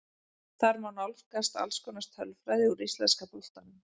Þar má nálgast alls konar tölfræði úr íslenska boltanum.